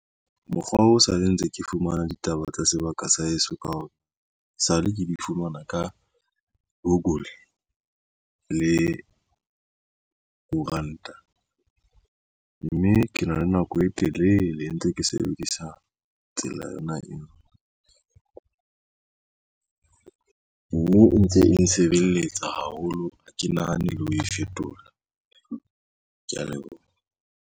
Mokgwa o sale ntse ke fumana ditaba tsa sebaka sa heso ka hae sale ke di fumana ka google le koranta mme ke na le nako e telele e ntse ke sebedisa tsela yona eo mme ntse e nsebeletsa haholo ha ke nahane e le ho e fetola. Ke ya leboha.